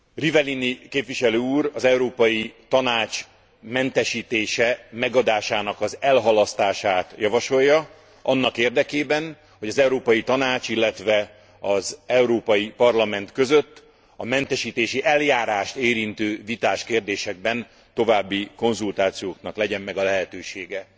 Rivellini képviselő úr az Európai Tanács mentesítése megadásának az elhalasztását javasolja annak érdekében, hogy az Európai Tanács, illetve az Európai Parlament között a mentesítési eljárást érintő vitás kérdésekben további konzultációknak legyen meg a lehetősége.